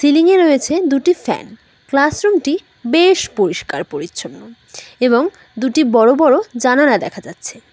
Ceiling এ রয়েছে দুটি ফ্যান ক্লাস রুম টি বেশ পরিষ্কার পরিচ্ছন্ন এবং দুটি বড়ো বড়ো জানালা দেখা যাচ্ছে।